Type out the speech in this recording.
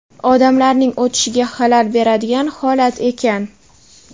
odamlarning o‘tishiga xalal beradigan holat ekan.